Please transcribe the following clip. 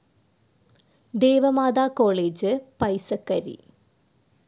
Deva Matha college, Paisakkari